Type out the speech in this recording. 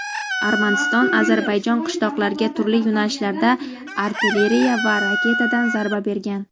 Armaniston Ozarbayjon qishloqlarga turli yo‘nalishlarda artilleriya va raketadan zarba bergan.